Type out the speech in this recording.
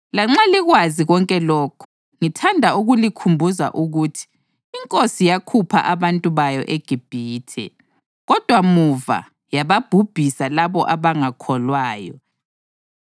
Lanxa likwazi konke lokhu, ngithanda ukulikhumbuza ukuthi iNkosi yakhupha abantu bayo eGibhithe, kodwa muva yababhubhisa labo abangakholwanga.